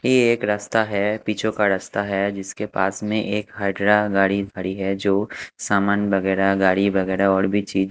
ये एक रास्ता है पिचों का रास्ता है जिसके पास में एक गाड़ी खड़ी है जो सामान वगैरा गाड़ी वगैरा और भी चीज--